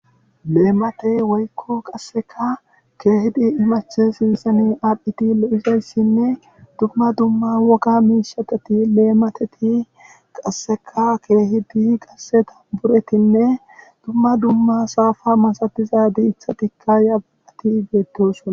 Leemate woykko qasseka keehidi imache sinsani addphiti lo'isayssinne dumma dumma woka miishateti leemateti qasseka keehidi qasseta buretinne dumma dumma saafa masatiza diithatikka yabaati geettosuna.